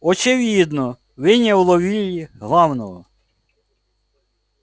очевидно вы не уловили главного